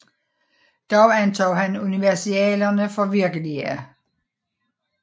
Dog antog han universalierne for virkelige